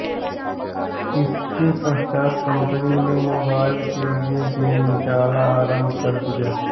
उसके पश्चात् कंपनी ने मोबाइल के लिए गेम निकालना आरम्भ कर दिया